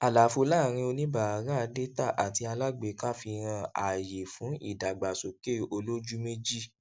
àlàfo láàrin oníbárà dátà àti alágbéká fi hàn ààyè fún ìdàgbàsókè olójú méjì